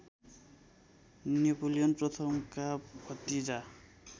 Napoleon प्रथमका भतिजा